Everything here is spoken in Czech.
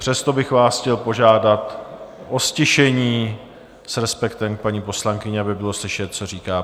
Přesto bych vás chtěl požádat o ztišení s respektem k paní poslankyni, aby bylo slyšet, co říká.